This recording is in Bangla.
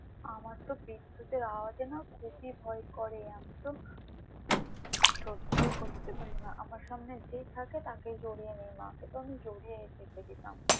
আমার তো বিদ্যুতের আওয়াজে খুবই ভয় করে আমি তো সহ্যই করতে পারি না আমার সামনে যেই থাকে তাকেই জড়িয়ে নি মাকে তো আমি জড়িয়ে ধরে রেখে দিতাম।